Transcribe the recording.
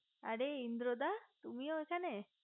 অরে ইন্দ্রদা তুমিও এখানে